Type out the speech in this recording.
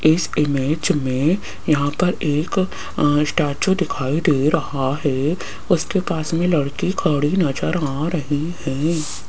इस इमेज में यहां पर एक स्टैचू दिखाई दे रहा है उसके पास में लड़की खड़ी नजर आ रही है।